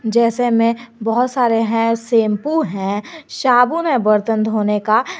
जैसे में बहुत सारे है सैंपू है साबुन है बर्तन धोने का।